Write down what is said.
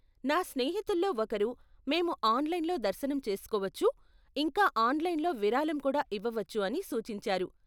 నా స్నేహితుల్లో ఒకరు మేము ఆన్లైన్లో దర్శనం చేసుకోవచ్చు, ఇంకా ఆన్లైన్లో విరాళం కూడా ఇవ్వవచ్చు అని సూచించారు.